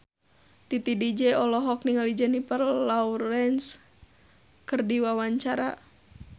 Titi DJ olohok ningali Jennifer Lawrence keur diwawancara